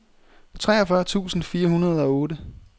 treogfyrre tusind fire hundrede og otte